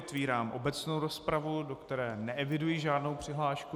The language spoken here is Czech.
Otevírám obecnou rozpravu, do které neeviduji žádnou přihlášku.